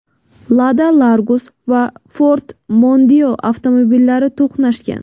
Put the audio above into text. Lada-Largus va Ford Mondeo avtomobillari to‘qnashgan.